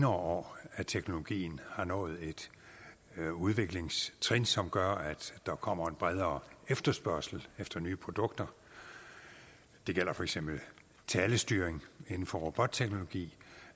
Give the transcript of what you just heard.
år at teknologien har nået et udviklingstrin som gør at der kommer en bredere efterspørgsel efter nye produkter det gælder for eksempel talestyring inden for robotteknologi